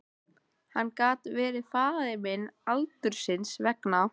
Hann gat verið faðir minn aldursins vegna.